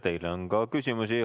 Teile on ka küsimusi.